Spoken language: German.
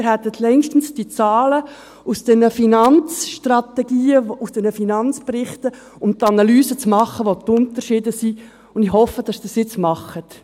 Sie hätten längst diese Zahlen aus diesen Finanzstrategien, aus diesen Finanzberichten, um die Analyse zu machen, wo die Unterschiede sind, und ich hoffe, dass Sie es jetzt machen.